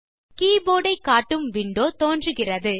keyboard ஐ காட்டும் window தோன்றுகிறது